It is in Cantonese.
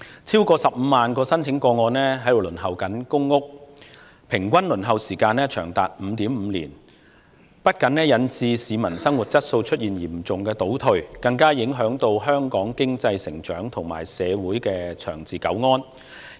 超過15萬宗輪候公屋個案的平均輪候時間長達 5.5 年，不僅引致市民生活質素嚴重倒退，更影響香港經濟成長和社會長治久安。